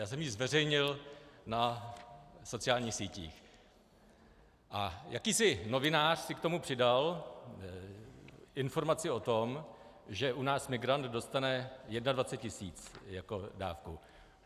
Já jsem ji zveřejnil na sociálních sítích a jakýsi novinář si k tomu přidal informaci o tom, že u nás migrant dostane 21 tisíc jako dávku.